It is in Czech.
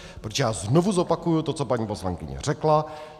Protože já znovu zopakuji to, co paní poslankyně řekla.